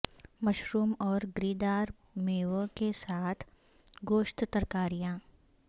mushroom اور گری دار میوے کے ساتھ گوشت ترکاریاں